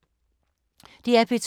DR P2